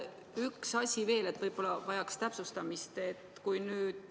Üks asi veel, mis võib-olla vajaks täpsustamist.